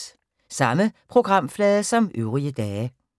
Samme programflade som øvrige dage